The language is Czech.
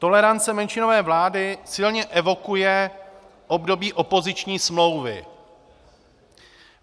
Tolerance menšinové vlády silně evokuje období opoziční smlouvy.